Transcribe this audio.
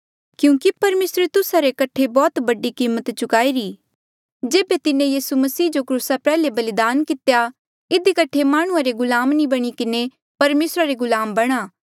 क्यूंकि परमेसरे तुस्सा रे कठे बौह्त बडी कीमत चुकाईरी जेबे तिन्हें यीसू मसीह जो क्रूसा प्रयाल्हे बलिदान कितेया इधी कठे माह्णुं रे गुलाम नी बणी किन्हें परमेसरा रे गुलाम बणा